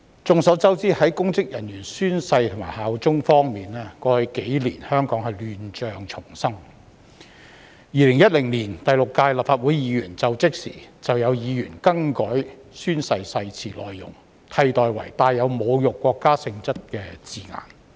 眾所周知，在公職人員宣誓及效忠方面，過去幾年香港亂象叢生。2016年第六屆立法會議員就職時，曾有議員更改宣誓誓詞的內容，並以帶有侮辱國家性質的字眼取代。